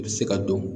U bɛ se ka dɔn